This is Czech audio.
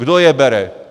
Kdo je bere?